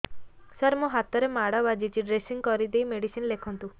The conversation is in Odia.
ସାର ମୋ ହାତରେ ମାଡ଼ ବାଜିଛି ଡ୍ରେସିଂ କରିଦେଇ ମେଡିସିନ ଲେଖନ୍ତୁ